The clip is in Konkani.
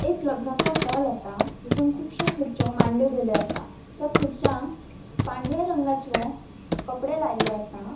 एक लग्नाचो हॉल असा. जीथून खुंबाशो खुर्रच्यो मांडल्यो गेल्यो असा. त्या खुर्च्यांक पांढऱ्या रंगाच्यो कपड़े लायल्ले असा.